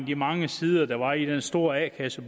de mange sider der var i den store a kasse